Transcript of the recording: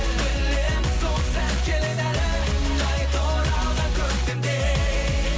білемін сол сәт келеді әлі қайта оралған көктемдей